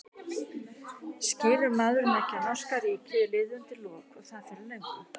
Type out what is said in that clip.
Skilur maðurinn ekki að norska ríkið er liðið undir lok og það fyrir löngu?